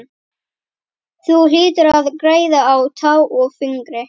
Þú hlýtur að græða á tá og fingri!